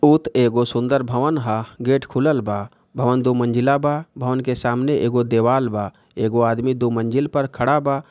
बहुत एगो सुंदर भवन है गेट खुलल बा भवन दो मंजिला बा भवन के सामने एगो देवाल बा। एगो आदमी दो मज़िल पे खड़ा बा